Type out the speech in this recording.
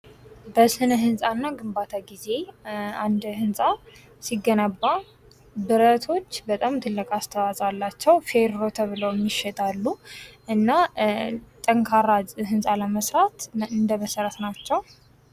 በስነ ህንፃ እና ግንባታ ጊዜ አንድ ህንፃ ሲገነባ ብረቶች በጣም ትልቅ አስተዋጽኦ አላቸው ፌሮ ተብለውም ይሸጣሉ እና ጠንካራ ህንፃ ለመስራት እንደመሠረት ናቸው ።